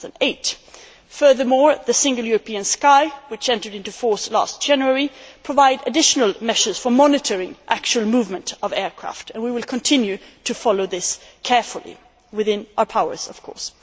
2008. Furthermore, the Single European Sky, which entered into force last January, provides additional measures for monitoring the actual movement of aircraft, and we will continue to follow this carefully within our powers, of course.